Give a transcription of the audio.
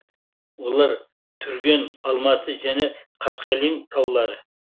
олар түрген алматы және қаскелең таулары